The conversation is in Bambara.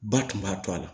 Ba tun b'a to a la